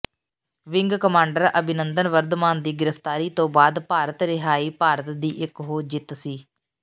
wing commander Abhinandan Varthaman ਦੀ ਗ੍ਰਿਫ਼ਤਾਰੀ ਤੋਂ ਬਾਅਦ ਰਿਹਾਈ ਭਾਰਤ ਦੀ ਇਕ ਹੋ ਜਿੱਤ ਸੀ